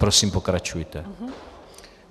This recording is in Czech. Prosím, pokračujte.